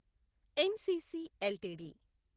NCC LTD